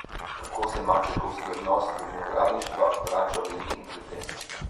Kako se mačehovski odnos do vinogradništva vrača velikim kletem?